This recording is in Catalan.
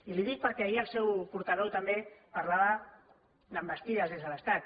i li ho dic perquè ahir el seu portaveu també parlava d’envestides des de l’estat